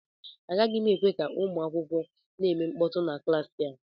Agaghị m ekwe ka ụmụ akwụkwọ na-eme mkpọtụ na klaasị a